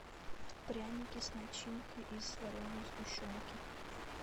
пряники с начинкой из вареной сгущенки